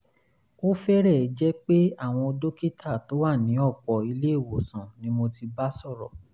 ó fẹ́rẹ̀ẹ́ jẹ́ pé àwọn dókítà tó wà ní ọ̀pọ̀ ilé-ìwòsàn ni mo ti bá sọ̀rọ̀